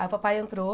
Aí o papai entrou,